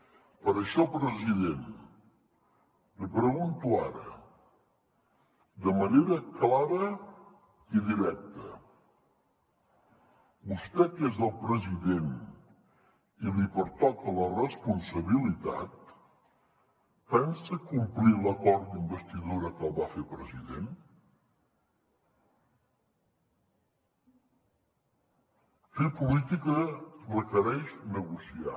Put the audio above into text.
per això president li pregunto ara de manera clara i directa vostè que és el president i li pertoca la responsabilitat pensa complir l’acord d’investidura que el va fer president fer política requereix negociar